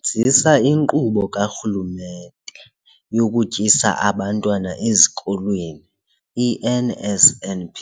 nzisa iNkqubo kaRhulumente yokuTyisa Abantwana Ezikolweni, i-NSNP,